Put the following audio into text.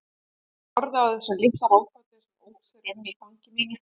Ég horfði á þessa litla ráðgátu sem ók sér um í fangi mínu.